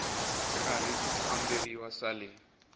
karhi ku kamberiwa swa le